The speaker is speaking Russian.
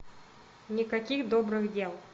никаких добрых дел